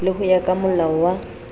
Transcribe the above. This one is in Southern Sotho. le ho ya kamolao wa